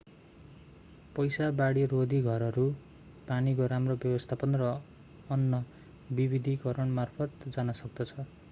पैसा बाढीरोधी घरहरू पानीको राम्रो व्यवस्थापन र अन्न विविधीकरणतर्फ जान सक्दछ